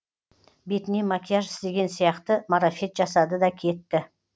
бетіне макияж істеген сияқты марафет жасады да кетті